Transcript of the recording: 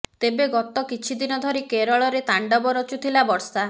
ତେବେ ଗତ କିଛିଦିନ ଧରି କେରଳରେ ତାଣ୍ଡବ ରଚୁଥିଲା ବର୍ଷା